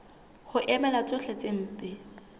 ho emela tsohle tse mpe